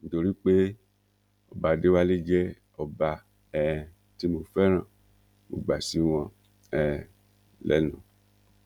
nítorí pé ọba adéwálé jẹ ọba um tí mo fẹràn mo gbà sí wọn um lẹnu